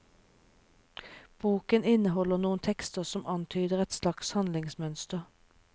Boken inneholder noen tekster som antyder et slags handlingsmønster.